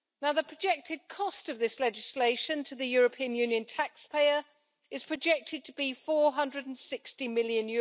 The projected cost of this legislation to the European Union taxpayer is projected to be EUR 460 million.